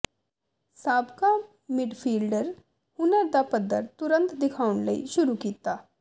ਸਾਬਕਾ ਮਿਡਫੀਲਡਰ ਹੁਨਰ ਦਾ ਪੱਧਰ ਤੁਰੰਤ ਦਿਖਾਉਣ ਲਈ ਸ਼ੁਰੂ ਕੀਤਾ